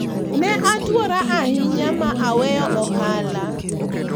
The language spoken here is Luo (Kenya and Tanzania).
ne atwora ahinya ma aweyo ohala